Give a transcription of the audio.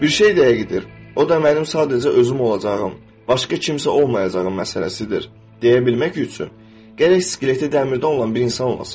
Bir şey də həqiqidir, o da mənim sadəcə özüm olacağım, başqa kimsə olmayacağım məsələsidir deyə bilmək üçün, gərək skeleti dəmirdən olan bir insan olasan.